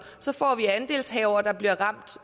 så får vi andelshavere der bliver ramt